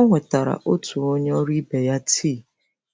Ọ wetara otu onye ọrụ ibe ya tii